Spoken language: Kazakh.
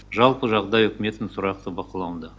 жалпы жағдай үкіметтің тұрақты бақылауында